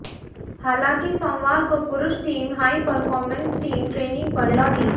हालांकि सोमवार को पुरूष team high performance team training पर लौटी